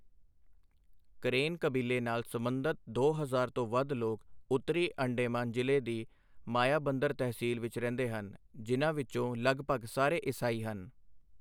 Crane ਕਬੀਲੇ ਨਾਲ ਸਬੰਧਤ ਦੋ ਹਜ਼ਾਰ ਤੋਂ ਵੱਧ ਲੋਕ ਉੱਤਰੀ ਅੰਡੇਮਾਨ ਜ਼ਿਲ੍ਹੇ ਦੀ ਮਾਯਾਬੰਦਰ ਤਹਿਸੀਲ ਵਿੱਚ ਰਹਿੰਦੇ ਹਨ, ਜਿਨ੍ਹਾਂ ਵਿੱਚੋਂ ਲਗਭਗ ਸਾਰੇ ਈਸਾਈ ਹਨ।